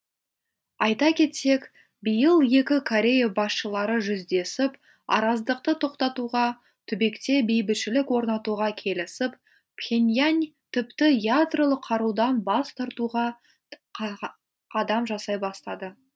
айта кетсек биыл екі корея басшылары жүздесіп араздықты тоқтатуға түбекте бейбітшілік орнатуға келісіп пхеньян тіпті ядролық қарудан бас тартуға қадам жасай бастады